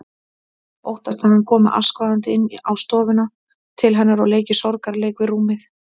Óttast að hann komi askvaðandi inn á stofuna til hennar og leiki sorgarleik við rúmið.